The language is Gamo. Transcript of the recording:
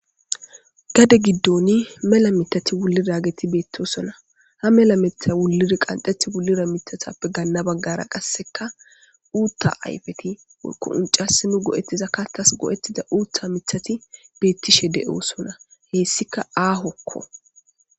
Gade giddoni mela mitati wullidageti beettosona. Ha mela mitha wuliri qanxeti wullira mitathappe ganna baggara qassekka uutta ayfeti woykko uncassi nu go'ettiza kattas go'ettida uutha mithathi beettishe de7osona. Heessika aahokko.